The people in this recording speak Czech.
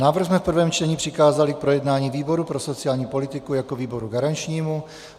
Návrh jsme v prvém čtení přikázali k projednání výboru pro sociální politiku jako výboru garančnímu.